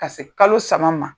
Ka se kalo saba ma.